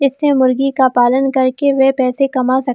इससे मुर्गी का पालन करके वह पैसे कमा सक--